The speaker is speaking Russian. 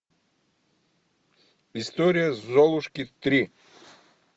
история золушки три